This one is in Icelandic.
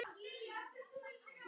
Strákur bunaði út úr sér